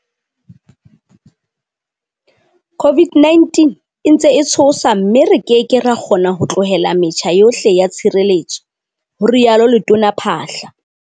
"COVID-19 e ntse e tshosa mme re ke ke ra kgona ho tlohella metjha yohle ya tshireletso," ho rialo Letona Phaahla.